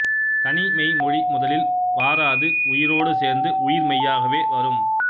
தனிமெய் மொழி முதலில் வாராது உயிரோடு சேர்ந்து உயிர்மெய்யாகவே வரும்